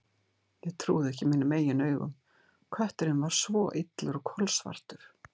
Ég trúði ekki mínum eigin augum: kötturinn var svo illur og kolsvartur.